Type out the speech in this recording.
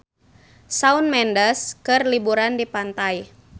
Shawn Mendes keur liburan di pantai